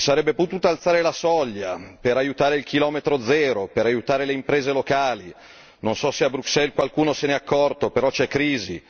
Si sarebbe potuta alzare la soglia per aiutare il chilometro zero, per aiutare le imprese locali. Non so se a Bruxelles qualcuno se n'è accorto, però c'è crisi.